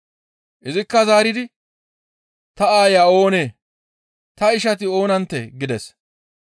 Izikka zaaridi, «Ta aaya oonee? Ta ishati oonanttee?» gides.